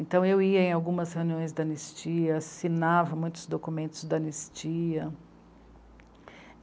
Então eu ia em algumas reuniões da anistia, assinava muitos documentos da anistia.